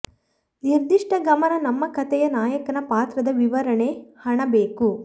ನಿರ್ದಿಷ್ಟ ಗಮನ ನಮ್ಮ ಕಥೆಯ ನಾಯಕನ ಪಾತ್ರದ ವಿವರಣೆ ಹಣ ಬೇಕು